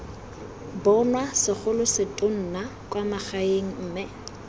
bonwa segolosetonna kwa magaeng mme